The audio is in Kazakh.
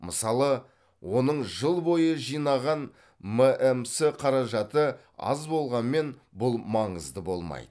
мысалы оның жыл бойы жинаған мәмс қаражаты аз болғанмен бұл маңызды болмайды